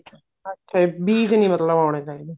ਅੱਛਾ ਬੀਜ ਨੀ ਮਤਲਬ ਆਉਣੇ ਚਾਹੀਦੇ